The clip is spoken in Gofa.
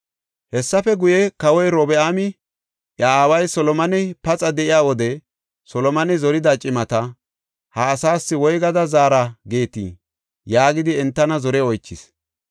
Hessafe guye, kawoy Robi7aami iya aaway Solomoney paxa de7iya wode Solomone zorida cimata, “Ha asaas woygada zaara geetii?” yaagidi entana zore oychis.